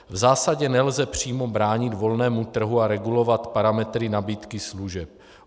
V zásadě nelze přímo bránit volnému trhu a regulovat parametry nabídky služeb.